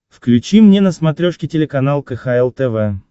включи мне на смотрешке телеканал кхл тв